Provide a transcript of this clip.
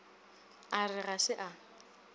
a re ga se a